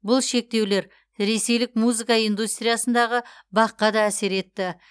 бұл шектеулер ресейлік музыка индустриясындағы бақ қа да әсер етті